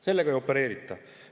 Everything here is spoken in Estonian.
Sellega ei opereerita.